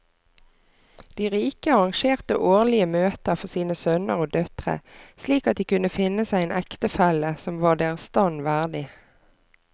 De rike arrangerte årlige møter for sine sønner og døtre slik at de kunne finne seg en ektefelle som var deres stand verdig.